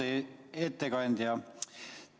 Austatud ettekandja!